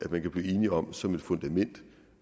man kan blive enige om som et fundament